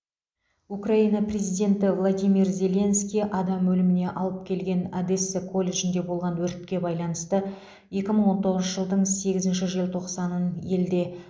украина президенті владимир зеленский адам өліміне алып келген одесса колледжінде болған өртке байланысты екі мың он тоғызыншы жылдың сегізінші желтоқсанын елде